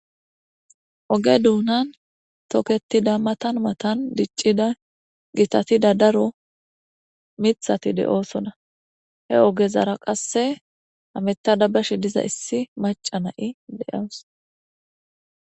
oge duunan toketida matan matan diccida gitatida daro mithati de7oosona he ogezara qasse hameta dabbashi diza issi maca na7i de7aws